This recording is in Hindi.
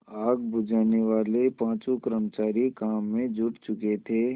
आग बुझानेवाले पाँचों कर्मचारी काम में जुट चुके थे